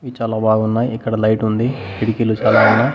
ఇవి చాలా బాగున్నాయి ఇక్కడ లైట్ ఉంది కిటికీలు చాలా ఉన్నాయి.